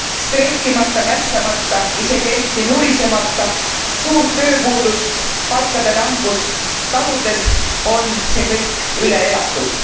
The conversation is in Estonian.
Streikimata, mässamata, isegi eriti nurisemata, suurt tööpuudust, palkade langust taludes on see kõik üle elatud.